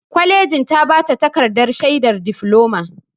Kwalejin ta ba ta takardar shaidar difloma.